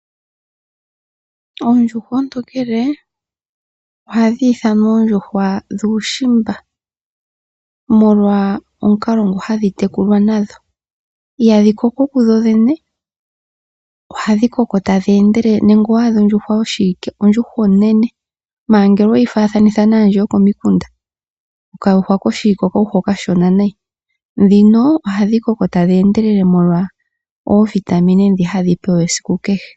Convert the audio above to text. Oondjuhwa oontonkele ohadhi ithanwa oondjuhwa dhuushimba, molwa omukalo ndhi hadhi tekulwa nadho. Ihadhi koko kudhodhene , ohadhi koko tadhi endelele, nande owaadha ondjuhwa yoshiwike onene, ngele weyi faathanitha nokayuhwa okashona kokomukunda okayuhwa okashona nayi. Ndhino ohadhi koko tadhi endelele molwa iitungithilutu mbyoka hadhi pewa.